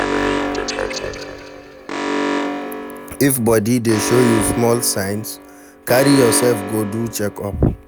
If body dey show you small small signs, carry yourself go do check up